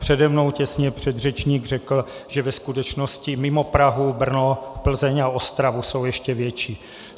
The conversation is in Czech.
Přede mnou těsně předřečník řekl, že ve skutečnosti mimo Prahu, Brno, Plzeň a Ostravu jsou ještě větší.